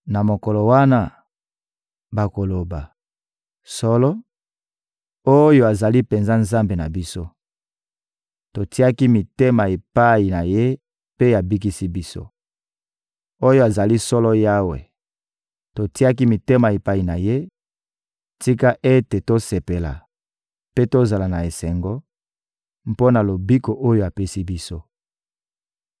Na mokolo wana, bakoloba: «Solo, Oyo azali penza Nzambe na biso! Totiaki mitema epai na Ye mpe abikisi biso. Oyo azali solo Yawe, totiaki mitema epai na Ye; tika ete tosepela mpe tozala na esengo mpo na lobiko oyo apesi biso!»